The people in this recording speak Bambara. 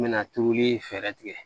N bɛna tuuru fɛɛrɛ tigɛ